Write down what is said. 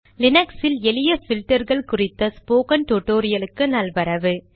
லீனக்ஸில் எளிய பில்டர்கள் குறித்த ஸ்போகன் டுடோரியலுக்கு நல்வரவு